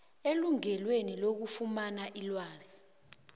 elungelweni lokufumana ilwazi